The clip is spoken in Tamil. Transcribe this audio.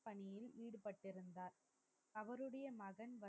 அவருடைய மகன்